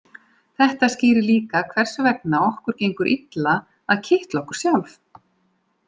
Þetta skýrir líka hvers vegna okkur gengur illa að kitla okkur sjálf.